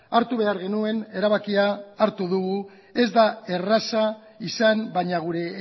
hartu behar genuen erabakia hartu dugu ez da erraza izan baina gure